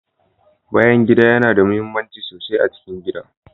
Bayan gida yana da muhimmanci sosai a cikin gida.